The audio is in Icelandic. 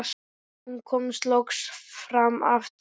Hún kemur loks fram aftur.